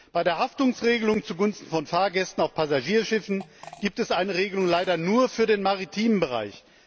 Bei der Haftungsregelung zugunsten von Fahrgästen auf Passagierschiffen gibt es eine Regelung leider nur für den maritimen Bereich.